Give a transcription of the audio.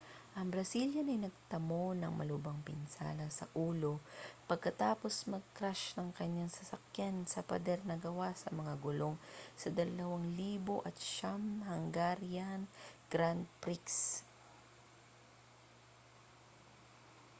ang brazilian ay nagtamo ng malubhang pinsala sa ulo pagkatapos ma-crash ang kaniyang sasakyan sa pader na gawa sa mga gulong sa 2009 hungarian grand prix